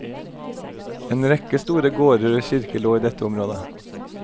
En rekke store gårder og kirker lå i dette området.